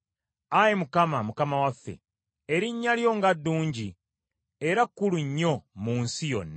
Ayi Mukama , Mukama waffe, erinnya lyo nga ddungi era kkulu nnyo mu nsi yonna!